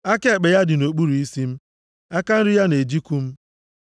Aka ekpe ya dị nʼokpuru isi m, aka nri ya na-ejikụ m.